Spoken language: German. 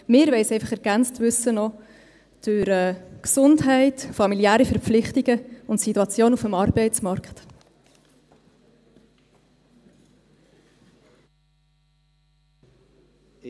Wir wollen es einfach noch um Gesundheit, familiäre Verpflichtungen und die Situation auf dem Arbeitsmarkt ergänzt wissen.